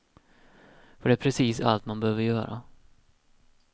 För det är precis allt man behöver göra.